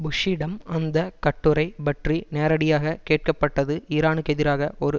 புஷ்ஷிடம் அந்த கட்டுரை பற்றி நேரடியாக கேட்கப்பட்டது ஈரானுக்கெதிராக ஒரு